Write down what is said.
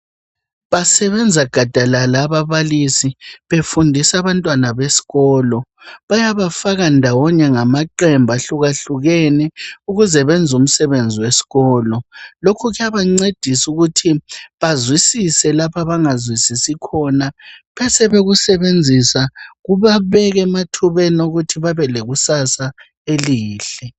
basebenza gadalala ababalisi befundisa besikolo bayabafaka ndawonye ngamaqembu ahlukahlukene ukuze benze umsebenzi wesikolo lokhu kuyabancedisa ukuthi bazwisise lapha abangazwisisi khona besebekusenzisa kubabeka emathubeni okuthi babe lekusasa elihle